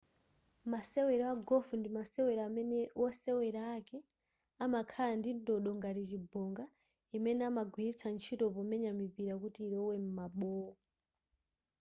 masewero a golf ndi masewero amene wosewera ake amakhala ndi ndodo ngati chibonga imene amagwiritsa ntchito pomenya mipira kuti ilowe m'mabowo